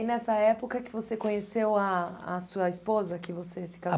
E aí nessa época que você conheceu a a sua esposa, que você se